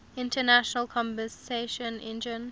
internal combustion engine